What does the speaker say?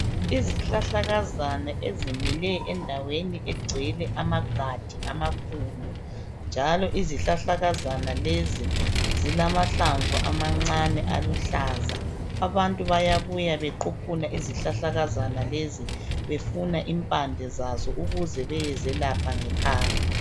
Izihlahlakazana ezimile endaweni egcwele amagadi amakhulu njalo izihlahlakazana lezi zilamahlamvu amancane aluhlaza .Abantu bayabuya bequphuna izihlahlakazana lezo befuna impande zazo ukuze beyezelapha ngekhaya .